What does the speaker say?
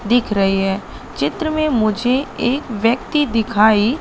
दिख रही है चित्र में मुझे एक व्यक्ति दिखाई--